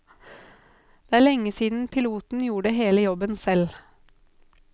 Det er lenge siden piloten gjorde hele jobben selv.